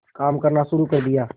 काम करना शुरू कर दिया